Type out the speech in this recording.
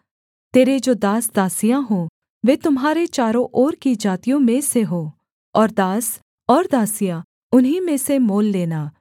तेरे जो दासदासियाँ हों वे तुम्हारे चारों ओर की जातियों में से हों और दास और दासियाँ उन्हीं में से मोल लेना